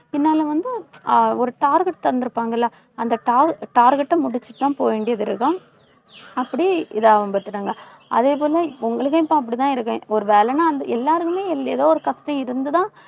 பின்னால வந்து அஹ் ஒரு target தந்து இருப்பாங்கல்ல, அந்த tar~ target அ முடிச்சுட்டுதான், போக வேண்டியது இருக்கும். அப்படி இதை அதே போல உங்களுக்கும் இப்ப அப்படித்தான் இருக்கும். ஒரு வேலைன்னா எல்லாருக்குமே ஏதோ ஒரு கஷ்டம் இருந்துதான்